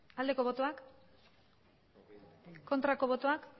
aldeko botoak aurkako botoak